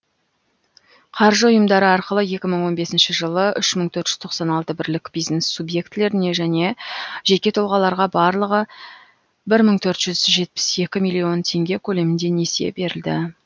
қаржы ұйымдары арқылы екі мың он бесінші жылы үш мың төрт жүз тоқсан алты бірлік бизнес субьектілеріне және жеке тұлғаларға барлығы бір бүтін төрт жүз жетпіс екі миллион теңге көлемінде несие берілді